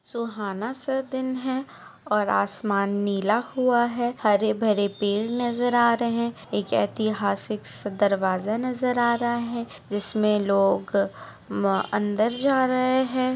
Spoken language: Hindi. सुहाना-सा दिन है आसमान नीला हुआ है हरे भरे-पेड़ नजर आ रहे है सिक्स दरवाजा नजर आ रहा है जिसमे लोग अंदर जा रहे है।